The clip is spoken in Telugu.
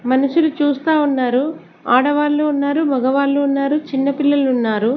మనుషులు చూస్తా ఉన్నారు ఆడవాళ్ళు ఉన్నారు మగవాళ్ళు ఉన్నారు చిన్న పిల్లలు ఉన్నారు.